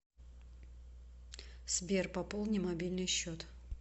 сбер пополни мобильный счет